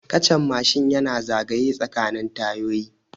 Kachan Mashin yana zagaye tsakanin tayoyi